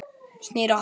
Snýr á hann.